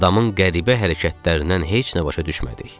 Adamın qəribə hərəkətlərindən heç nə başa düşmədik.